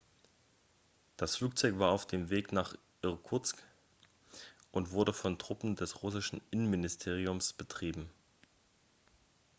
das flugzeug war auf dem weg nach irkutsk und wurde von truppen des russischen innenministeriums betrieben